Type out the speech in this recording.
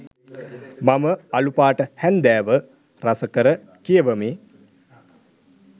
මම අළුපාට හැන්දෑව රසකර කියවමි